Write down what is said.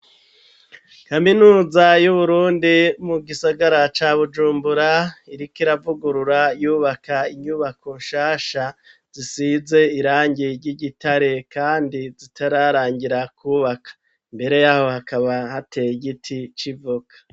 Kaminuza y'uburundi mu gisagara ca Bujumbura iriko iravugurura yubaka inyubako shasha zisize irangi ry'igitare kandi zitararangira kubaka mbere yaho hakaba hateye igiti c'ivoka